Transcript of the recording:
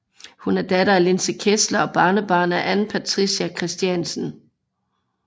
Hun er datter af Linse Kessler og barnebarn af Ann Patricia Christiansen